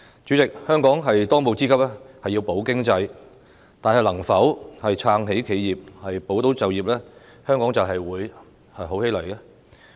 主席，香港的當務之急是要保經濟，但是否撐起企業、保就業，香港便會好起來呢？